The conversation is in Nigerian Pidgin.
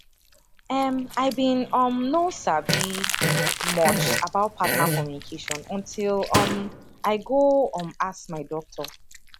em i been um no sabi much about partner communication until um i go um ask my doctor